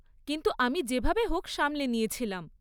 কিন্তু আমি যেভাবে হোক সামলে নিয়েছিলাম।